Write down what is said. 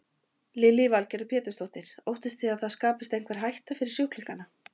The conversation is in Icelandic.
Lillý Valgerður Pétursdóttir: Óttist þið það að það skapist einhver hætta fyrir sjúklingana?